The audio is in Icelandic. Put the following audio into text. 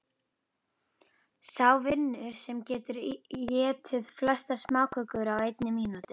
Sá vinnur sem getur étið flestar smákökur á einni mínútu.